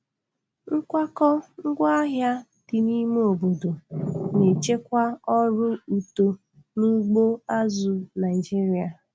Nkwakọ ngwaahịa dị n'ime obodo na-echekwa ọrụ uto n'ugbo azụ̀ Naịjiria.